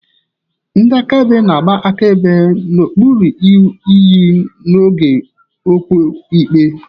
Ndị akaebe na-agba akaebe n'okpuru iyi n'oge okwu ikpe.